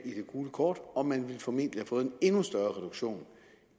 gule kort og man ville formentlig have fået en endnu større reduktion